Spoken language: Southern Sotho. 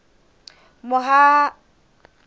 mohahamoriti